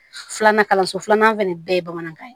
Filanan kalanso filanan fɛnɛ bɛɛ ye bamanankan ye